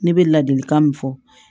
Ne bɛ ladilikan min fɔ